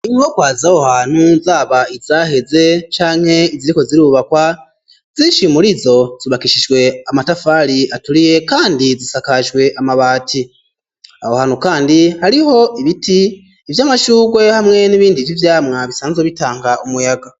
Inyubakwa zaho hantu zaba izaheze canke iziriko zirubakwa zishi murizo zubakishijwe amatafari aturiye kandi zisakajwe amabati, aho hantu kandi hariho ibiti ivya mashurwe hamwe n'ibindi vyi vyamwa bisanzwe bitanga umuyaga.